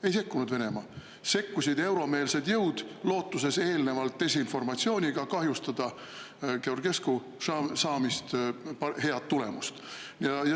Ei sekkunud Venemaa, sekkusid euromeelsed jõud lootuses eelnevalt desinformatsiooniga kahjustada Georgescu head tulemust.